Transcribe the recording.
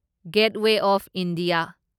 getaway of India